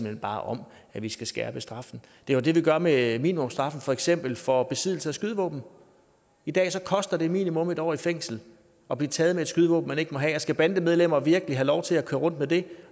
hen bare om at vi skal skærpe straffene det er jo det vi gør med minimumsstraffen for eksempel for besiddelse af skydevåben i dag koster det minimum en år i fængsel at blive taget med et skydevåben man ikke må have og skal bandemedlemmer virkelig have lov til at køre rundt med det